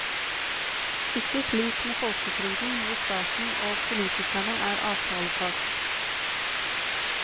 Ikke slik med folketrygden, hvor staten og politikerne er avtalepart.